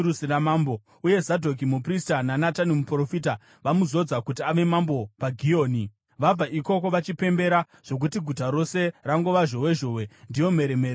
uye Zadhoki muprista naNatani muprofita vamuzodza kuti ave mambo paGihoni. Vabva ikoko vachipembera, zvokuti guta rose rangova zhowezhowe. Ndiyo mheremhere yamuri kunzwa.